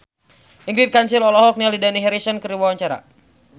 Ingrid Kansil olohok ningali Dani Harrison keur diwawancara